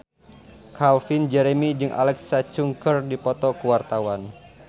Calvin Jeremy jeung Alexa Chung keur dipoto ku wartawan